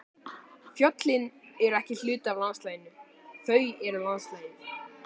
Fjöllin eru ekki hluti af landslaginu, þau eru landslagið.